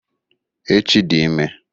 Echi dị ime.